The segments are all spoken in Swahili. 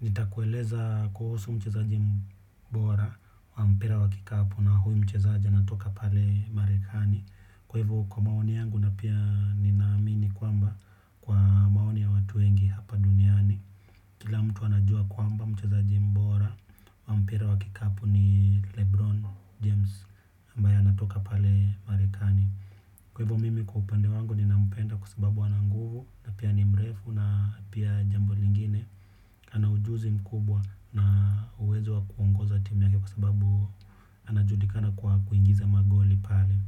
Nitakueleza kuhusu mchezaji mbora wa mpira wa kikapu na huyu mchezaji anatoka pale marekani. Kwa hivyo kwa maoni yangu na pia ninaamini kwamba kwa maoni ya watu wengi hapa duniani. Kila mtu anajua kwamba mchezaji mbora wa mpira wa kikapu ni Lebron James. Ambaye anatoka pale Marekani. Kwa hivyo mimi kwa upande wangu ninampenda kwa sababu ana nguvu na pia ni mrefu na pia jambo lingine, ana ujuzi mkubwa na uwezo wa kuongoza timu yake kwa sababu, anajulikana kwa kuingiza magoli pale.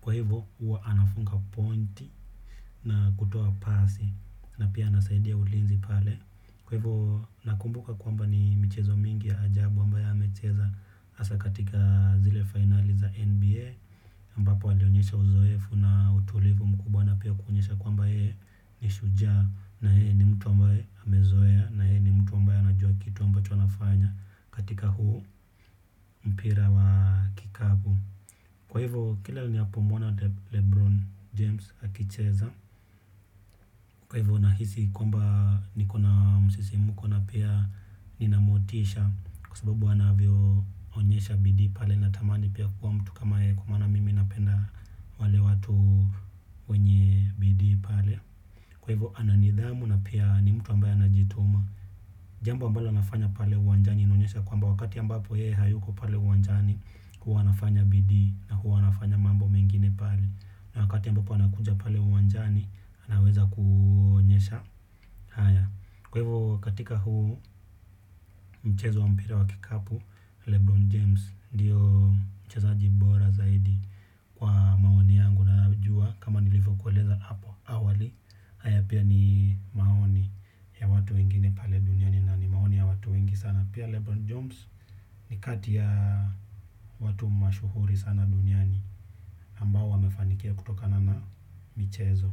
Kwa hivo huwa anafunga pointi na kutuo pasi na pia anasaidia ulinzi pale. Kwa hivo, na kumbuka kwamba ni michezo mingi ya ajabu ambaye amecheza. Hasa katika zile finali za NBA, Ambapo alionyesha uzoefu na utulivu mkubwa na pia kuonyesha kwamba yeye ni shujaa na yeye ni mtu ambaye amezoea na yeye ni mtu ambaye anajua kitu ambacho anafanya katika huu, mpira wa kikapu. Kwa hivyo kila ninapomwona Lebron James akicheza, kwa hivyo nahisi kwamba nikona msisimko na pia nina motisha kwa sababu anavyo onyesha bidii pale na tamani pia kuwa mtu kama yeye kwa maana mimi napenda, wale watu wenye bidii pale. Kwa hivyo ana nidhamu na pia ni mtu ambae anajituma. Jambo ambalo anafanya pale uwanjani inaonyesha kwamba wakati ambapo yeye hayuko pale uwanjani, huwa anafanya bidii na huwa anafanya mambo mengine pale. Na wakati ambapo anakuja pale uwanjani anaweza kuonyesha haya. Kwa hivyo katika huu, mchezo wa mpira wa kikapu, Lebron James ndio mchezaji bora zaidi kwa maoni yangu na najua kama nilivyo kueleza hapo awali, haya pia ni maoni ya watu wengine pale duniani na ni maoni ya watu wengi sana. Pia Lebron James ni kati ya watu mashuhuri sana duniani ambao wamefanikiwa kutokana na michezo.